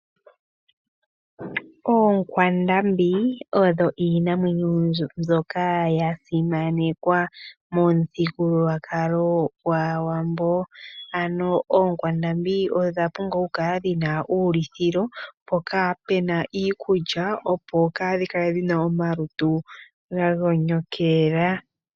Oonkwandambi odho iinamwenyo mbyoka ya simanekwa momuthigululwakalo gwaAawambo, ano oonkwandambi odha pumbwa oku kala dhina uulithilo mpoka puna iikulya, opo kaadhi kale dhina omalutu ga gonyokela.